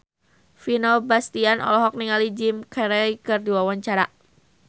Vino Bastian olohok ningali Jim Carey keur diwawancara